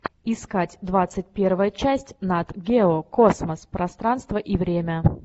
искать двадцать первая часть нат гео космос пространство и время